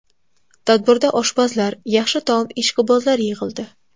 Tadbirda oshpazlar, yaxshi taom ishqibozlari yig‘ildi.